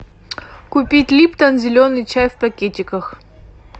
купить липтон зеленый чай в пакетиках